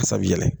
Sa bi yɛlɛ